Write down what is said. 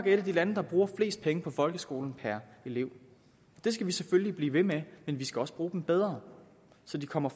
et af de lande der bruger flest penge på folkeskolen per elev det skal vi selvfølgelig blive ved med men vi skal også bruge dem bedre så de kommer